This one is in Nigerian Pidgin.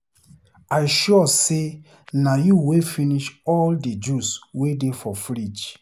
I sure say na you wey finish all the juice wey dey for fridge